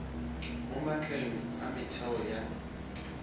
mo maatleng a metheo ya